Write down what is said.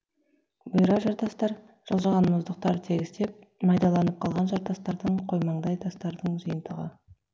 бұйра жартастар жылжыған мұздықтар тегістеп майдаланып қалған жартастардың қоймаңдай тастардың жиынтығы